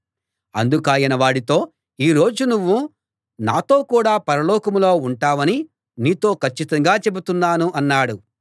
అందుకాయన వాడితో ఈ రోజు నువ్వు నాతో కూడా పరలోకంలో ఉంటావని నీతో కచ్చితంగా చెబుతున్నాను అన్నాడు